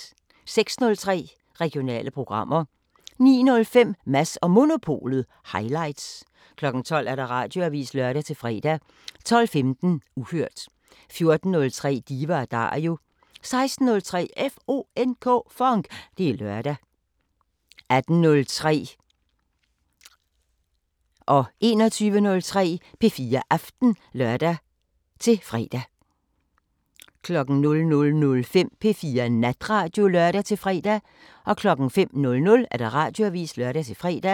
06:03: Regionale programmer 09:05: Mads & Monopolet Highlights 12:00: Radioavisen (lør-fre) 12:15: Uhørt 14:03: Diva & Dario 16:03: FONK! Det er lørdag 18:03: P4 Aften (lør-søn) 21:03: P4 Aften (lør-fre) 00:05: P4 Natradio (lør-fre) 05:00: Radioavisen (lør-fre)